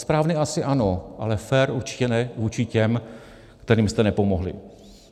Správný asi ano, ale fér určitě ne vůči těm, kterým jste nepomohli.